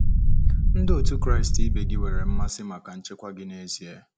Ndị otu Kraịst ibe gị nwere mmasị maka nchekwa gị n'ezie.